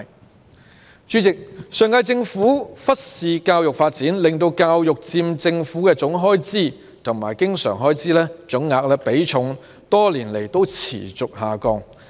代理主席，上屆政府忽視教育發展，令教育開支佔政府的總開支和經常開支總額的比重，多年來持續下降。